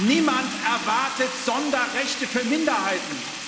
Niemand erwartet Sonderrechte für Minderheiten.